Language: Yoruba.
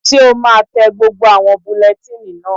Ṣé o máa tẹ gbogbo àwọn bulẹtíìnì náà?